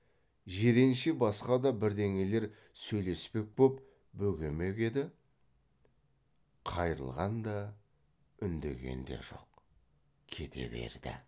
жиренше басқа да бірдеңелер сөйлеспек боп бөгемек еді қайрылған да үндеген де жоқ кете берді